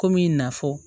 Komi n y'a fɔ